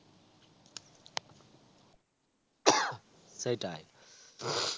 সেটাই.